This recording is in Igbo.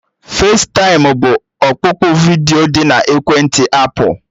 Festaịm bụ ọkpụkpụ vidiyo dị na ekwentị apụl